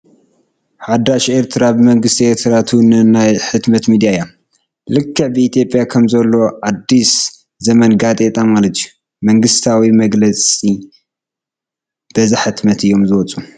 ሓዳስ ኤርትራ ብመንግስቲ ኤርትራ ትውነን ናይ ሕትመት ሚድያ እያ፡፡ ልክዕ ብኢትዮጵያ ከምዘሎ ኣዲስ ዘመን ጋዜጣ ማለት እዩ፡፡ መንግስታዊ መግለፂ በዛ ሕትመት እዮም ዝወፁ፡፡